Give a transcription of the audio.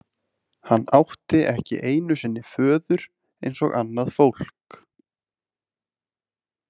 Hann átti ekki einu sinni föður eins og annað fólk.